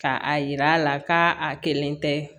Ka a yira a la k'a kelen tɛ